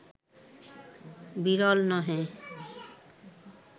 বিরল নহে